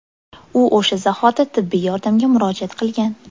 U o‘sha zahoti tibbiy yordamga murojaat qilgan.